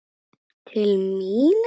Til mín?